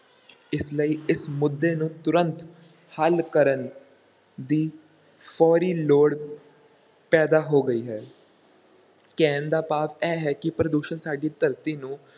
ਇਸ ਲਈ ਇਸ ਮੁੱਦੇ ਨੂੰ ਤੁਰੰਤ ਹੱਲ ਕਰਨ ਦੀ ਫੌਰੀ ਲੋੜ ਪੈਦਾ ਹੋ ਗਈ ਹੈ ਕਹਿਣ ਦਾ ਭਾਵ ਇਹ ਹੈ ਕਿ ਪ੍ਰਦੂਸ਼ਣ ਸਾਡੀ ਧਰਤੀ ਨੂੰ